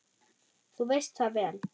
Þú veist það vel.